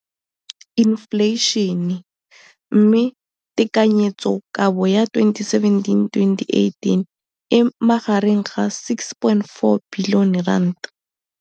Infleišene, mme tekanyetsokabo ya 2017, 18, e magareng ga R6.4 bilione.